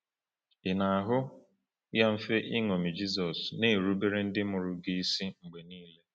Ị na-ahụ ya mfe iṅomi Jizọs, na-erubere ndị mụrụ gị isi mgbe niile?